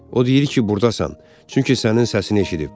O deyir ki burdasan, çünki sənin səsini eşidib.